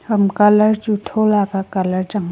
ham colour chu tho la ka colour chang ah.